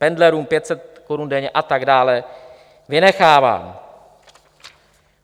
Pendlerům 500 korun denně, a tak dále, vynechávám.